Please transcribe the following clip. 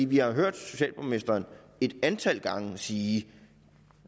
vi har hørt socialborgmesteren et antal gange sige